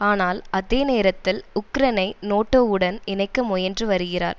ஆனால் அதே நேரத்தில் உக்ரைனை நேட்டோவுடன் இணைக்க முயன்று வருகிறார்